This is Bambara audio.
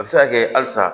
A bɛ se ka kɛ halisa